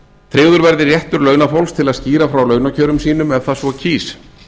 tryggður verði réttur launafólks til að skýra frá launakjörum sínum ef það svo kýs